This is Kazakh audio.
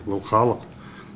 бұл халық